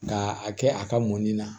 Ka a kɛ a ka mɔnni na